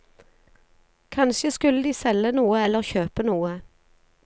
Kanskje skulle de selge noe eller kjøpe noe.